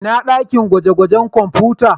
Ina dakin gwaje-gwajen kwamfuta?